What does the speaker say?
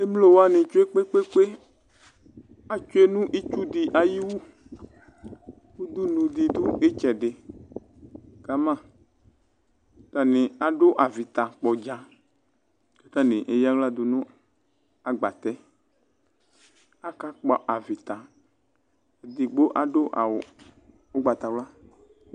Emlo wanɩ tsoe kpekpekpe atsʋe nʋ ɩtsʋ dɩ ayɩwu ʋdʋnʋ dɩ dʋ ɩtsɛdɩ kamǝ atanɩ adʋ avɩtakpɔdza atanɩ eyaɣla dʋ nʋ agbatɛ Akakpɔ avɩta edɩgbo adʋ awʋ ʋgbatawla